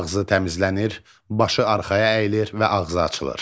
Ağzı təmizlənir, başı arxaya əyilir və ağzı açılır.